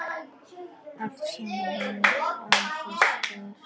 Allt sem hönd á festir.